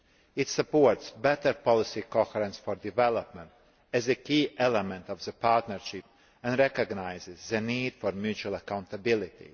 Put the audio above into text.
It supports better policy coherence for development as a key element of the partnership and recognises the need for mutual accountability.